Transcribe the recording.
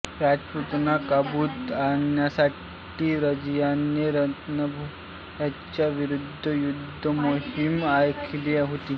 राजपुतांना काबूत आणण्यासाठी रझियाने रणंथंभोरच्या विरुद युद्धमोहीम आखली होती